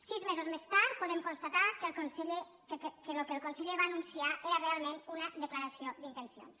sis mesos més tard podem constatar que el que el conseller va anunciar era realment una declaració d’intencions